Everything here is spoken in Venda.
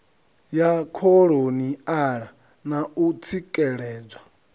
ya kholoniala na u tsikeledzwa